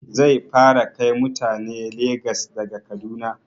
Zai fara kai mutane Legas daga Kaduna